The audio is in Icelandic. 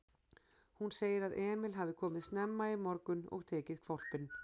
Hún segir að Emil hafi komið snemma í morgun og tekið hvolpinn.